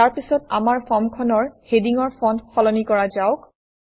ইয়াৰ পিছত আমাৰ ফৰ্মখনৰ হেডিঙৰ ফণ্ট সলনি কৰা যাওক